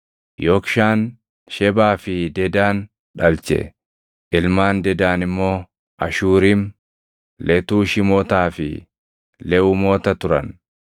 Yoqshaan Shebaa fi Dedaan dhalche; ilmaan Dedaan immoo Ashuurim, Letuushimotaa fi Leʼumoota turan.